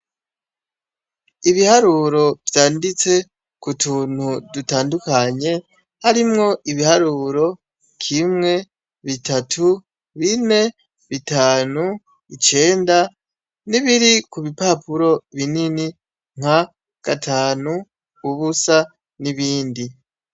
Ibiharuro vyanditse ku tuntu dutandukanye, harimwo ibiharuro : kimwe, bitatu, bine, bitanu, icenda n'ibiri ku bipapuro binini nka gatanu, ubusa n'ibindi.